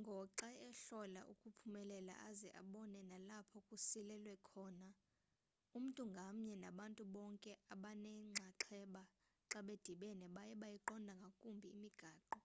ngoxa ehlola ukuphumelela aze abone nalapho kusilelwe khona umntu ngamnye nabantu bonke abanenxaxheba xa bedibene baye beyiqonda kangumbi imigaqo